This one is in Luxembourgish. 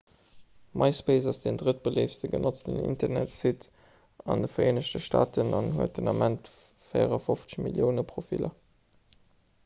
myspace ass den drëttbeléiftste genotzten internetsite an de vereenegte staaten an huet den ament 54 millioune profiller